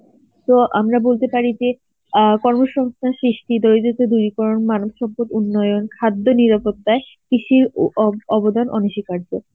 তো আমরা বলতে পারি যে, আ কর্মসংস্থান সৃষ্টি এই যে তোদের মানব সভ্যর উন্নয়ন খাদ্য নিরাপত্তায় কৃষি ও অব~ অবদান অনস্বীকার্য.